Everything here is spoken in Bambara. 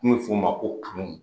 Kun bi f'o ma ko kanu